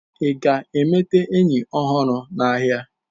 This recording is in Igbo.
ị ga-emeta enyi ọhụrụ n'ahịa?